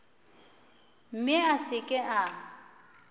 mme a se ke a